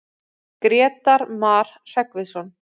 Grétar Mar Hreggviðsson.